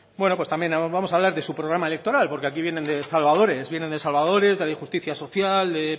bueno pues también vamos a hablar de su programa electoral porque aquí vienen de salvadores vienen de salvadores de la injusticia social de